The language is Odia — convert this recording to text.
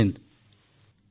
ଜୟ ହିନ୍ଦ୍ ଜୟ ହିନ୍ଦ୍